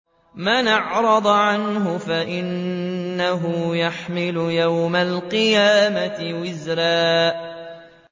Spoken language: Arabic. مَّنْ أَعْرَضَ عَنْهُ فَإِنَّهُ يَحْمِلُ يَوْمَ الْقِيَامَةِ وِزْرًا